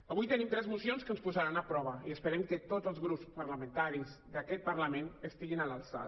avui tenim tres mocions que ens posaran a prova i esperem que tots els grups parlamentaris d’aquest parlament estiguin a l’alçada